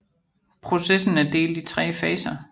Processen er delt i 3 faser